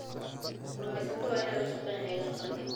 Kalluumeysatada waa in ay la shaqeeyaan hay�adaha qaranka.